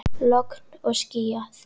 Logn og skýjað.